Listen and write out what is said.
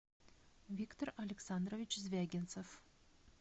виктор александрович звягинцев